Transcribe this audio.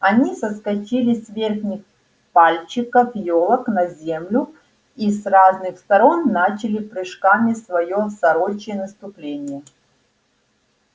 они соскочили с верхних пальчиков ёлок на землю и с разных сторон начали прыжками своё сорочье наступление